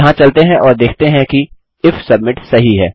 यहाँ चलते हैं और देखते हैं कि इफ सबमिट सही है